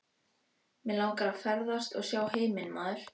Mig langar að ferðast og sjá heiminn maður.